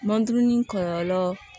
Manduruni kɔlɔlɔ